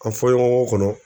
An fɔɲɔgɔŋɔ kɔnɔ